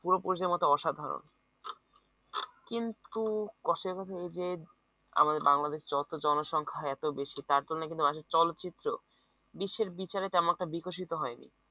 পূর্বপুরুষের মত অসাধারণ কিন্তু আমাদের বাংলাদেশের চলচ্চিত্র জনসংখ্যায় এত বেশি তার জন্য কিন্তু মানুষের চলচ্চিত্র বিশ্বের বিচারে তেমন একটা বিকশিত হয়নি